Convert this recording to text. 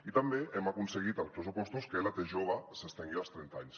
i també hem aconseguit als pressupostos que la t jove s’estengui als trenta anys